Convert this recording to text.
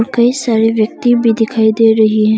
कई सारे व्यक्ति भी दिखाई दे रही है।